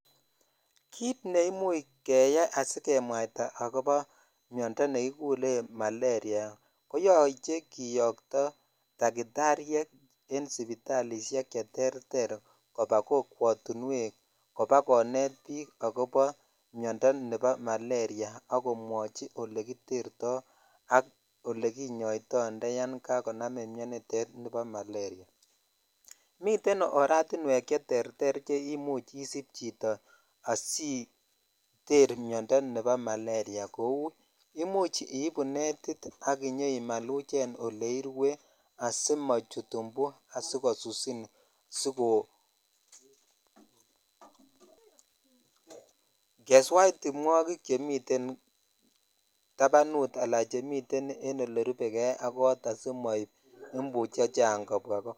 Kit ne imuch keyaisijemwaita miondoo nekikuren maleria koyoche kiyoto dakitsryek en sipitalishek che terter koba kokwotunemwek kobakonet bik ak bi miondoo nebo maleria ak komwochi olekitertoi ak olekinyoitoi indayan kanamin miondoo nitet bo maleria miten oratinywek che terter che yoche isib chito asiter miondoo nebo maleria kou imuch ibu netit ak inyoimaluchen oleirue asimochut imbu asikosusinsi ko (puse) keswek timwogik chemiten tapanut al chemiten en olerube jei ak kot asimoib imbu chechang kobwaa ko.